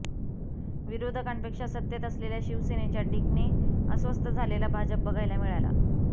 विरोधकांपेक्षा सत्तेत असलेल्या शिवसेनेच्या टीकने अस्वस्थ झालेला भाजप बघायला मिळाला